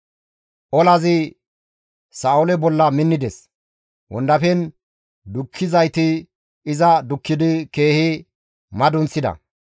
Olazi Sa7oole bolla minnides; wondafen dukkizayti iza dukkidi keehi madunththida.